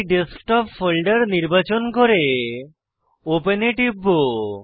আমি desktop folder নির্বাচন করে ওপেন এ টিপব